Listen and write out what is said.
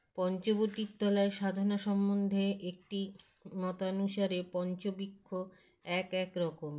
পঞ্চবটির তলায় সাধনা সম্বন্ধে একটি মতানুসারে পঞ্চবৃক্ষ এক এক রকম